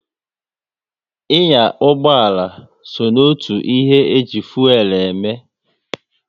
Ị nya ụgbọala so n'otu ihe e ji fuelu eme